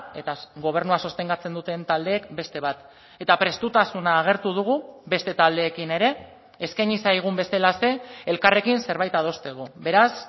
eta gobernua sostengatzen duten taldeek beste bat eta prestutasuna agertu dugu beste taldeekin ere eskaini zaigun bezalaxe elkarrekin zerbait adosteko beraz